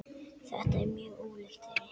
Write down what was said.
Þetta er mjög ólíkt þeirri